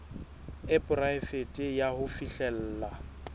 e poraefete ya ho fihlella